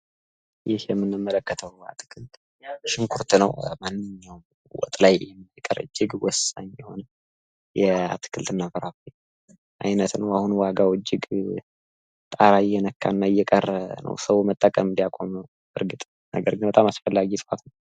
ይህ የምንመለከተው አትክልት ሽንኩርት ነው። በየትኛውም የወጥ አይነት ላይ የሚደረግ እጅግ ወሳኝ የአትክልትና ፍራፍሬ አይነት ነው። ነገር ግን አሁን ላይ ዋጋው ጣራ እየነካ ሰዉ መጠቀም ሊያቆም ነው።